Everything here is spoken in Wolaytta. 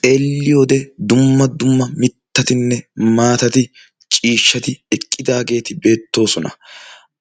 xeelli wode dumma dumma mittatinne maatati ciishshati eqqidaageeti beettoosona.